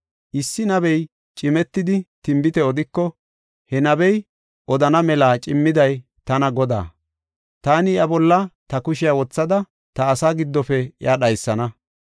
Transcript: Issi nabey cimetidi tinbite odiko, he nabey odana mela cimmiday tana Godaa. Taani iya bolla ta kushiya wothada, ta asaa giddofe iya dhaysana.